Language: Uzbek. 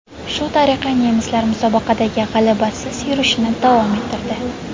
Shu tariqa nemislar musobaqadagi g‘alabasiz yurishini davom ettirdi.